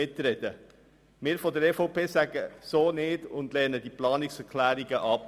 Wir von der EVP sagen so nicht und lehnen diese Planungserklärungen ab.